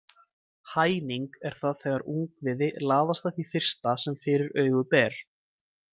Hæning er það þegar ungviði laðast að því fyrsta sem fyrir augu ber.